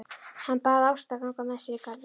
Hann bað Ástu að ganga með sér í garðinn.